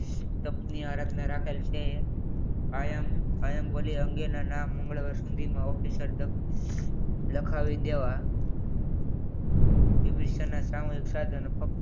રચના રાખેલ છે IAMIAM ભોલે અંગે ના મંગળવાર સુધી official લખાવી દેવા વિભીષણના સામુહિક સાધનો